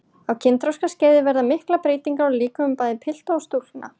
Á kynþroskaskeiði verða miklar breytingar á líkömum bæði pilta og stúlkna.